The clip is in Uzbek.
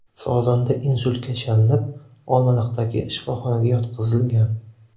Sozanda insultga chalinib, Olmaliqdagi shifoxonaga yotqizilgan.